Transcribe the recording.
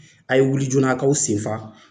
A ye wuli joona a kaw sen fa